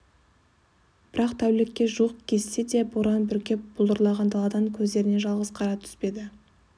бірақ тәулікке жуық кезсе де боран бүркеп бұлдыраған даладан көздеріне жалғыз қара түспеді